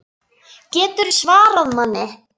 GETURÐU SVARAÐ MANNI!